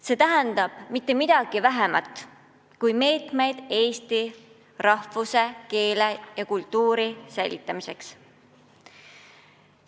See tähendab mitte midagi vähemat kui meetmeid Eesti rahvuse, keele ja kultuuri säilitamiseks.